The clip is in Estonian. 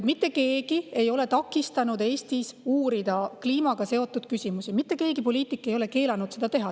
Mitte keegi ei ole takistanud Eestis uurida kliimaga seotud küsimusi, mitte ükski poliitik ei ole keelanud seda teha.